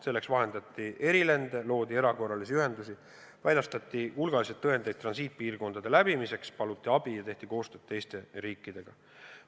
Selleks vahendati erilende, loodi erakorralisi ühendusi, väljastati hulgaliselt tõendeid transiidipiirkondade läbimiseks, paluti abi ja tehti koostööd teiste riikidega.